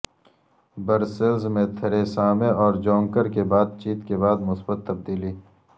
Brussels میں Theresa May اور Juncker کی بات چیت کے بعد مثبت تبدیلی